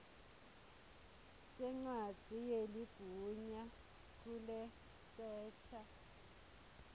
sencwadzi yeligunya lekusesha